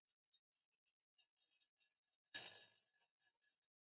Því allt hefur sinn tíma.